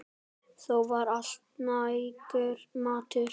Þó var alltaf nægur matur.